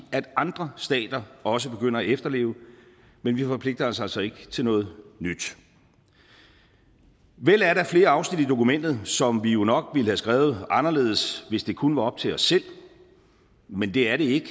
andre stater også begynder at efterleve men vi forpligter os altså ikke til noget nyt vel er der flere afsnit i dokumentet som vi jo nok ville have skrevet anderledes hvis det kun var op til os selv men det er det ikke